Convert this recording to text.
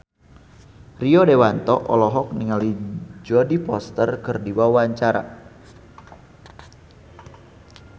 Rio Dewanto olohok ningali Jodie Foster keur diwawancara